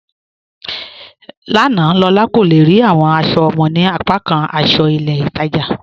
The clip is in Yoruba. Lána, Lólà kò le rí awọn aṣọ ọmọ ni apàkàn aṣọ ilẹ̀ Ìtaja